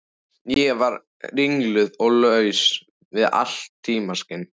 Ég var ringluð og laus við allt tímaskyn.